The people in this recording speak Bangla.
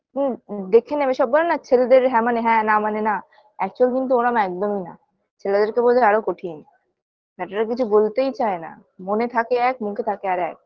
হু হু দেখে নেবে সব বলেনা ছেলেদের হ্যাঁ মানে হ্যাঁ না মানে না actual কিন্তু ওরম একদমই না ছেলেদেরকে বোঝা আরো কঠিন বেটারা কিছু বলতেই চায় না মনে থাকে এক মুখে থাকে আরেক